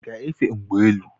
I gá-efe n'ụgbọ elu?